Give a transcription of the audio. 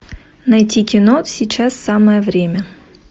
найти кино сейчас самое время